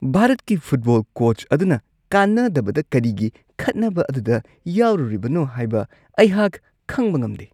ꯚꯥꯔꯠꯀꯤ ꯐꯨꯠꯕꯣꯜꯒꯤ ꯀꯣꯆ ꯑꯗꯨꯅ ꯀꯥꯟꯅꯗꯕꯗ ꯀꯔꯤꯒꯤ ꯈꯠꯅꯕ ꯑꯗꯨꯗ ꯌꯥꯎꯔꯨꯔꯤꯕꯅꯣ ꯍꯥꯏꯕ ꯑꯩꯍꯥꯛ ꯈꯪꯕ ꯉꯝꯗꯦ ꯫